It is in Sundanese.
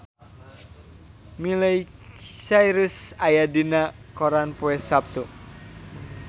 Miley Cyrus aya dina koran poe Saptu